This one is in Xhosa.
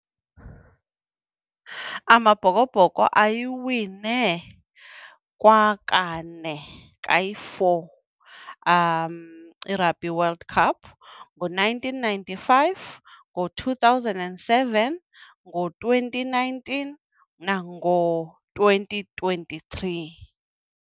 AmaBhokoBhoko ayiwine kwakane, kayi-four, iRugby World Cup ngo-nineteen ninety-five, ngo-two thousand and seven, ngo-twenty nineteen nango-twenty twenty-three.